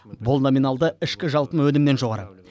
бұл номиналды ішкі жалпы өнімнен жоғары